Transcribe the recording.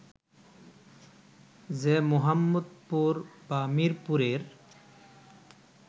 যে মোহাম্মদপুর বা মিরপুরের